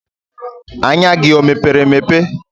Anya gị o mepere emepe?